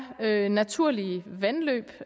hvad naturlige vandløb